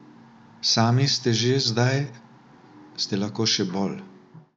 Sami ste že zdaj, ste lahko še bolj?